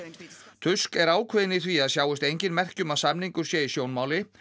tusk er ákveðinn í því að sjáist engin merki um að samningur sé í sjónmáli